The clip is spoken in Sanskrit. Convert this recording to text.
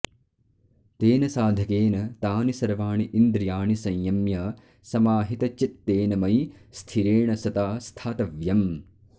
तेन साधकेन तानि सर्वाणि इन्द्रियाणि संयम्य समाहितचित्तेन मयि स्थिरेण सता स्थातव्यम्